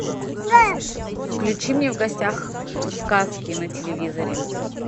включи мне в гостях у сказки на телевизоре